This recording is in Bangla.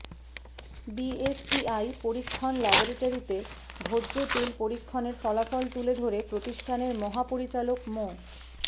বিএসটিআই পরীক্ষণ ল্যাবরেটরিতে ভোজ্য তেল পরীক্ষণের ফলাফল তুলে ধরে প্রতিষ্ঠানের মহাপরিচালক মো